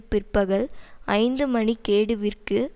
பிற்பகல் ஐந்து மணி கேடுவிற்கு